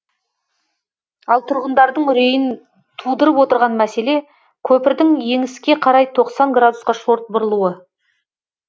ал тұрғындардың үрейін тудырып отырған мәселе көпірдің еңіске қарай тоқсан градусқа шорт бұрылуы